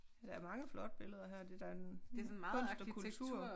Der er mange flotte billeder her det da en kunst og kultur